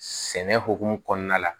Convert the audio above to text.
Sɛnɛ hokumu kɔnɔna la